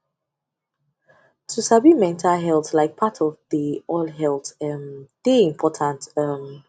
to sabi mental health like part of de all health um de important um